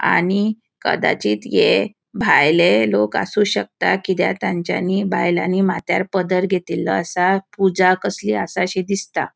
आणि कदाचित ये भायले लोक असू शकता कित्याक तेन्चानी बायलानी मात्यार पदर घेतिल्लो आसा पूजा कसली आसाषी दिसता.